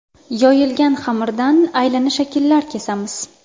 Yoyilgan xamirdan aylana shakllar kesamiz.